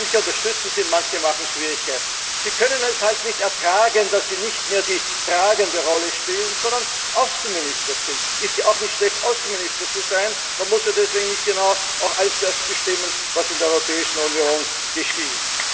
Manche unterstützen Sie, manche machen Schwierigkeiten. Die können es halt nicht ertragen, dass sie nicht mehr die tragende Rolle spielen, sondern Außenminister sind. Es ist ja auch nicht schlecht, Außenminister zu sein, man muss ja deswegen nicht genau all das bestimmen, was in der Europäischen Union geschieht.